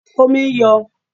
Omi ń yọ